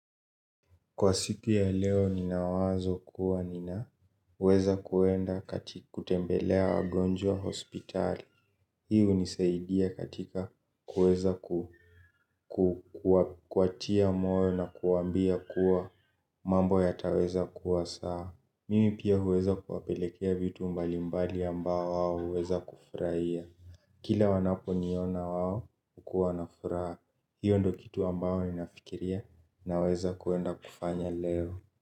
Kwa siku ya leo ninabwazo kuwa nina uweza kuenda katika kutembelea wagonjwa hospitali. Hi unisaidia katika kuweza kuwatia moyo na kuwambia kuwa mambo ya taweza kuwa sawa. Mimi pia uweza kuwapelekea vitu mbalimbali ambao wao uweza kufraia. Kila wanapo niona wao ukuwa na fraa. Hiyo ndo kitu ambao ninafikiria naweza kuenda kufanya leo.